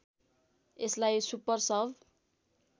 यसलाई सुपर सब